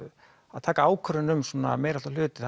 að taka ákvörðun um meiriháttar hluti